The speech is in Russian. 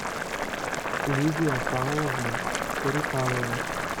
лидия павловна курюкалова